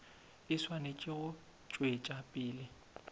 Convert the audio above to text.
e swanetše go tšwetša pele